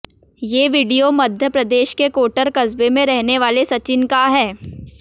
ये वीडियो मध्य प्रदेश के कोटर कस्बे के रहने वाले सचिन का है